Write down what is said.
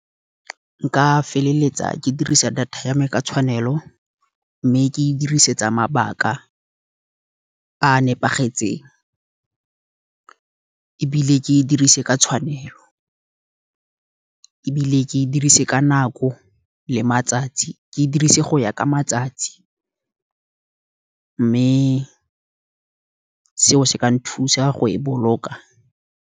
Nka feleletsa ke dirisa data ya me ka tshwanelo, mme ke e dirisetsa mabaka a nepagetseng. Ebile ke e dirise ka tshwanelo, ebile ke e dirise ka nako le matsatsi, ke e dirise go ya ka matsatsi, mme seo se ka nthusa go e boloka.